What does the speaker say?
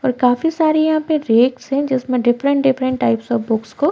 और काफी सारी यहाँ पर रेक्स हैं जिसमे different -different types of books को--